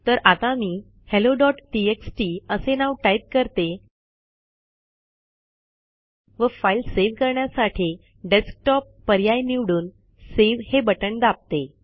तर आता मी helloटीएक्सटी असे नाव टाइप करते व फाईल सेव्ह करण्यासाठी डेस्कटॉप पर्याय निवडून सावे हे बटन दाबते